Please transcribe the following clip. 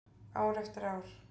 Ár eftir ár.